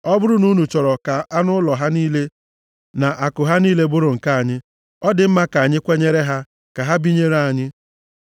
Ọ bụrụ na unu chọrọ ka anụ ụlọ ha niile na akụ ha niile bụrụ nke anyị, ọ dị mma ka anyị kwenyere ha, ka ha binyere anyị.”